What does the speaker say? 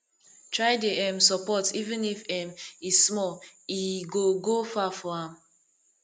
try dey um sopport even if um e small as e go go far for am